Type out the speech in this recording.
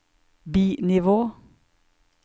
bi-nivå